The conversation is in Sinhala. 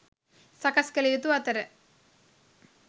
සකස් කලයුතු අතර